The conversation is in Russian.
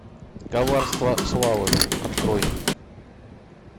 коварство славы открой